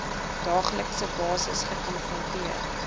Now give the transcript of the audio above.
daaglikse basis gekonfronteer